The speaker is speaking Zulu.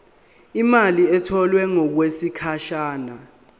imali etholwe ngokwesigatshana